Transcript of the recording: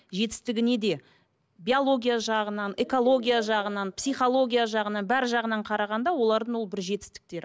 жетістігіне де биология жағынан экология жағынан психология жағынан бәрі жағынан қарағанда олардың ол бір жетістіктері